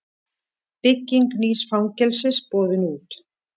Bygging nýs fangelsis boðin út